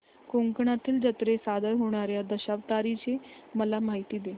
कोकणातील जत्रेत सादर होणार्या दशावताराची मला माहिती दे